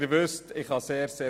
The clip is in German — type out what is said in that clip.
Die Sitzung ist geschlossen.